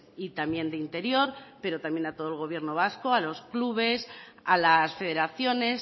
y también de interior pero también a todo el gobierno vasco a los clubes a las federaciones